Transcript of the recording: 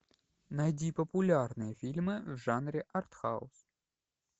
найди популярные фильмы в жанре артхаус